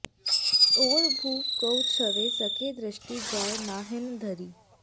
और भूप कोउ छ्वै सकै दृष्टि जाय नाहिंन धरी